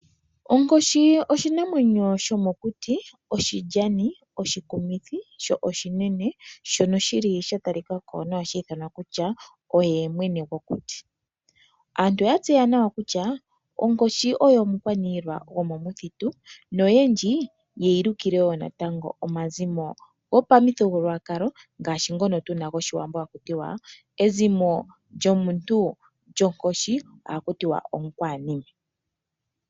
Onkoshi oshinamwenyo shoka shomokuti oshilyani, oshikumithi sho oshinene. Shono sha talika ko onga osho mwene gwokuti. Aantu oya tseya nawa kutya onkoshi oyo omukwaniilwa gwomomuthitu noyendji ye yi lukile wo natango omazimo gopamuthigululwakalo gAawambo ngaashi ezimo lyAakwananime.